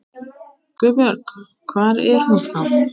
GUÐBJÖRG: Hvar er hún þá?